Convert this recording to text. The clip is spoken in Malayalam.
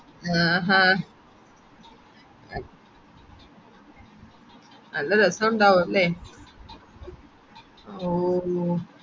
ആഹ്ഹ നല്ല രസമുണ്ടാവുമല്ലേ ഓ